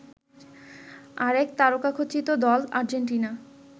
আরেক তারকাখচিত দল আর্জেন্টিনা